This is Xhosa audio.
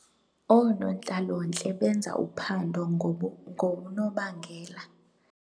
Oonontlalontle benza uphando ngonobangela.